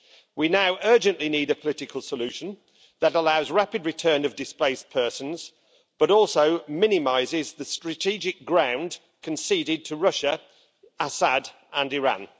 We now urgently need a political solution that allows rapid return of displaced persons, but also minimises the strategic ground conceded to Russia, Assad and Iran.